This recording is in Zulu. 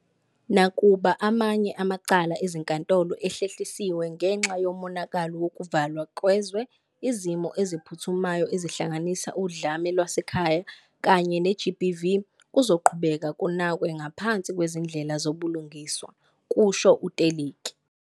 "Nakuba amanye amacala ezinkantolo ehlehlisiwe ngenxa yomonakalo wokuvalwa kwezwe, izimo eziphuthumayo ezihlanganisa udlame lwasekhaya kanye ne-GBV kuzoqhubeka kunakwe ngaphansi kwezindlela zobulungiswa," kusho u-Teleki.